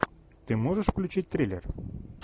ты можешь включить триллер